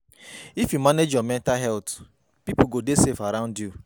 If you manage your mental health, pipo go dey safe around you.